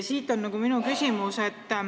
Siit minu küsimus.